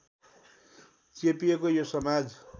चेपिएको यो समाज